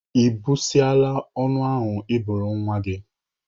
Ị bụsasiala ọnụ ahụ Ị bụrụ nwa gị?